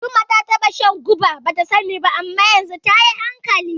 Jumai ta taɓa shan guba bata sani ba, amma yanzu tayi hankali.